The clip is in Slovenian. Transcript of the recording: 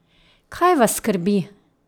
Kaj vas skrbi?